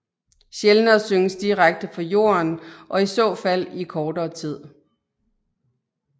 Sjældnere synges direkte fra jorden og i så fald i kortere tid